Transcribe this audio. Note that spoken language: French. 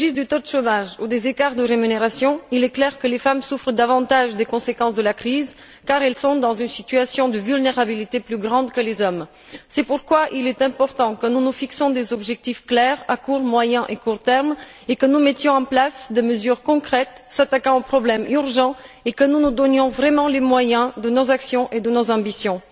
Qu'il s'agisse du taux de chômage ou des écarts de rémunération, il est clair que les femmes souffrent davantage des conséquences de la crise, car elles sont dans une situation de vulnérabilité plus grande que les hommes. C'est pourquoi il est important que nous nous fixions des objectifs clairs à court, moyen et court terme, que nous mettions en place des mesures concrètes s'attaquant aux problèmes urgents et que nous nous donnions vraiment les moyens de nos actions et de nos ambitions.